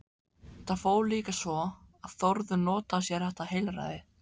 Það fór líka svo að Þórður notaði sér þetta heilræði.